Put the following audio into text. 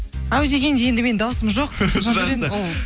әу дегенде енді менің дауысым жоқ жандәурен ол